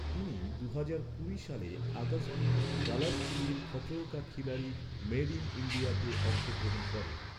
তিনি দুহাজার কুড়ি সালের আগস্টে কালারস টিভির ‘খতরোঁ কে খিলাড়ি মেড ইন ইন্ডিয়াতে অংশগ্রহণ করেন।